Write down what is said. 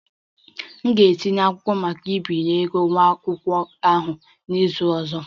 Aga m etinye akwụkwọ maka mgbazinye ego nwa akwụkwọ ahụ n'izu ọzọ